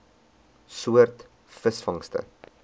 soort visvangste